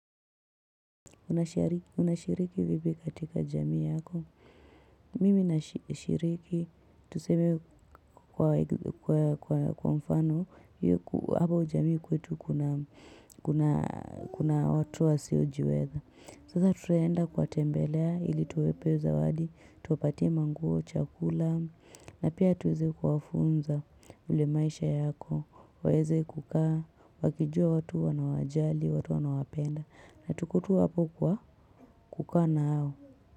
Unashiriki vipi katika jamii yako. Mimi nashiriki. Tuseme kwa mfano. Hapo jamii kwetu kuna watu wasiojiweza. Sasa tulienda kuwa tembelea ili tuwape zawadi. Tuwapatie manguo, chakula. Na pia tuweze kuwafunza ule maisha yako. Waweze kukaa. Wakijua watu wanawajali, watu wanawapenda. Na tulikua hapo kwa. Kukaa nao.